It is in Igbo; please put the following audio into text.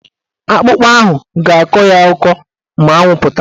Akpụkpa ahụ ga-akọ ya ọkọ ma anwụ pụta.